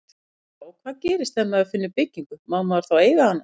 Birta: Og hvað gerist ef maður finnur byggingu, má maður þá eiga hana?